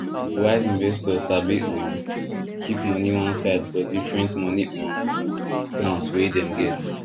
wise investors sabi um keep money one side for different money um plans wey dem get